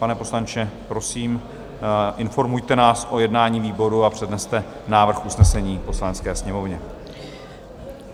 Pane poslanče, prosím, informujte nás o jednání výboru a předneste návrh usnesení Poslanecké sněmovně.